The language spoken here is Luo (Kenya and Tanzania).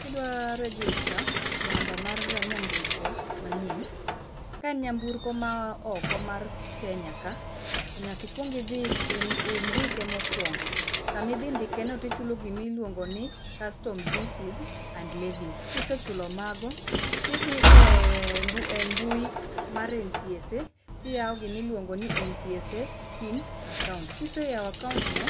Kidwaro r egister namba mar nyamburko manyien, ka nyamburko maya oko mar Kenya ka to nyaka ikuong idhi indike mokongo, sama idhi ndike to ichulo gima iluongo ni custom duty and levies. Kisechulo mago to idhi e mbui mar NTSA to iyao gima iluongo ni NTSA tims akaunt. Ka iseyao akaunt no